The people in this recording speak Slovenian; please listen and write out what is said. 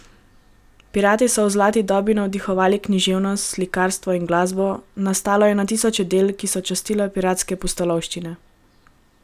Pirati so v zlati dobi navdihovali književnost, slikarstvo in glasbo, nastalo je na tisoče del, ki so častila piratske pustolovščine.